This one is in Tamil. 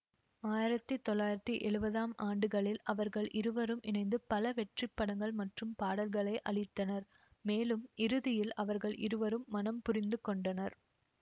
ஆயிரத்தி தொள்ளாயிரத்தி எழுவதாம் ஆண்டுகளில் அவர்கள் இருவரும் இணைந்து பல வெற்றிப்படங்கள் மற்றும் பாடல்களை அளித்தனர் மேலும் இறுதியில் அவர்கள் இருவரும் மணம் புரிந்துகொண்டனர்